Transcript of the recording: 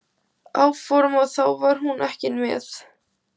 áform og þá var hún ekki með.